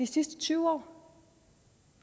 sidste tyve år